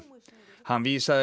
hann vísaði